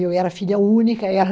Eu era filha única, era...